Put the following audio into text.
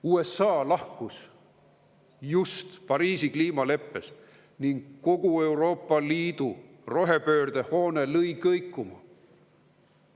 USA lahkus just Pariisi kliimaleppest ning kogu Euroopa Liidu rohepöörde hoone lõi kõikuma.